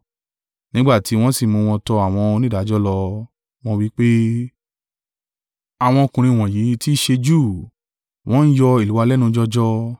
Nígbà tí wọ́n sì mú wọn tọ àwọn onídàájọ́ lọ, wọ́n wí pé, “Àwọn ọkùnrin wọ̀nyí tí í ṣe Júù, wọ́n ń yọ ìlú wa lẹ́nu jọjọ,